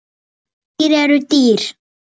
Skordýr eru dýr.